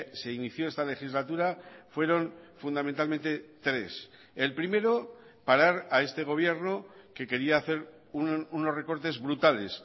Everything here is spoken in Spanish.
se inició esta legislatura fueron fundamentalmente tres el primero parar a este gobierno que quería hacer unos recortes brutales